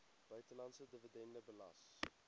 buitelandse dividende belas